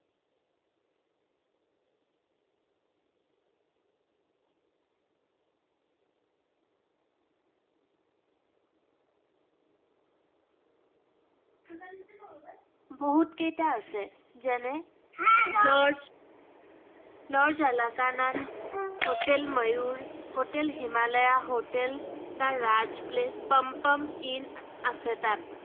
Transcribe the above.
বহুত কেইটা আছে, যেনে lodge lodge এলাকানা, hotel Mayur, hotel Himalaya, hotel the Raj palace palm palm inn আছে তাত।